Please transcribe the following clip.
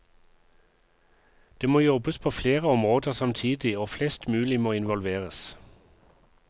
Det må jobbes på flere områder samtidig og flest mulig må innvolveres.